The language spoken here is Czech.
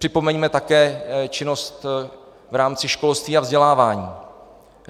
Připomeňme také činnost v rámci školství a vzdělávání.